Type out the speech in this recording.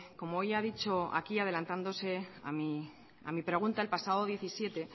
como hoy ha dicho aquí adelantándose a mi pregunta el pasado diecisiete